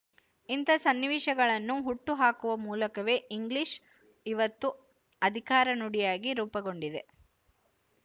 ಇಂತಹ ಸನ್ನಿವೇಶಗಳನ್ನು ಹುಟ್ಟು ಹಾಕುವ ಮೂಲಕವೇ ಇಂಗ್ಲಿಶು ಇವತ್ತು ಅಧಿಕಾರ ನುಡಿಯಾಗಿ ರೂಪುಗೊಂಡಿದೆ